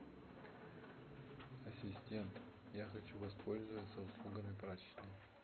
ассистент я хочу воспользоваться услугами прачечной